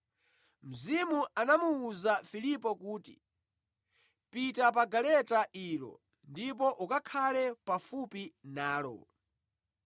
Mzimu anamuwuza Filipo kuti, “Pita pa galeta ilo ndipo ukakhale pafupi nalo.”